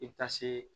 I bɛ taa se